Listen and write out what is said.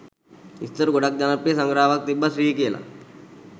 ඉස්සර ගොඩක් ජනප්‍රිය සඟරාවක් තිබ්බා ශ්‍රී කියලා